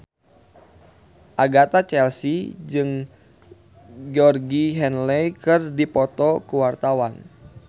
Agatha Chelsea jeung Georgie Henley keur dipoto ku wartawan